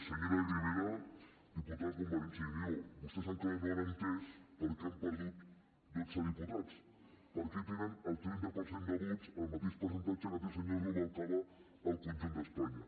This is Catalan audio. senyora ribera diputada de convergència i unió vostès encara no han entès per què han perdut dotze diputats per què tenen el trenta per cent de vots el mateix percentatge que té el senyor rubalcaba al conjunt d’espanya